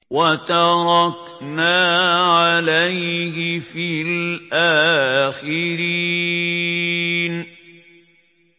وَتَرَكْنَا عَلَيْهِ فِي الْآخِرِينَ